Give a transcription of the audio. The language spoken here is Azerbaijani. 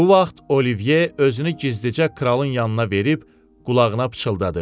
Bu vaxt Oliyve özünü gizdicə kralın yanına verib, qulağına pıçıldadı.